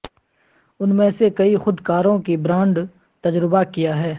ان میں سے کئی خود کاروں کی برانڈ تجربہ کیا ہے